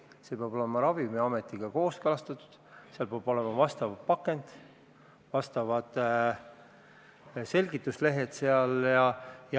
See peab olema Ravimiametiga kooskõlastatud, peab olema nõutav pakend, selgituslehed sees.